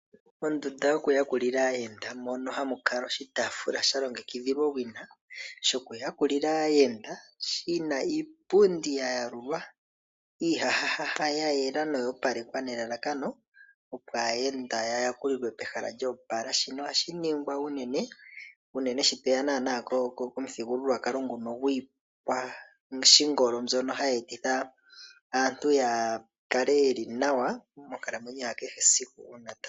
Mondunda yo ku yakulila aayenda mono ha mu kala oshitaafula sha longekidhilwa owina shoku yakulila aayenda , shina iipundi ya yalulwa, iihahahaha ya yela noya opalekwa nelalakano opo aayenda ya yakulilwe pehala lyoopala. Shino oha shi ningwa unene sho tweya komuthigululwakalo gopashingolo ngono ha gu etitha aantu ya kale ye li nawa monkalamwenyo ya kehe esiku.